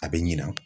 A bɛ ɲina